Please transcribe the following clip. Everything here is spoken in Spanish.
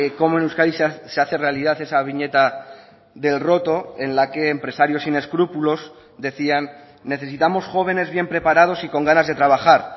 como en euskadi se hace realidad esa viñeta del roto en la que empresarios sin escrúpulos decían necesitamos jóvenes bien preparados y con ganas de trabajar